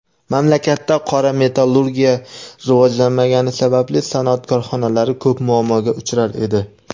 Mamlakatda qora metallurgiya rivojlanmagani sababli sanoat korxonalari ko‘p muammoga uchrar edi.